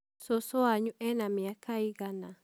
Cũcũ wanyu ena mĩaka ĩigana?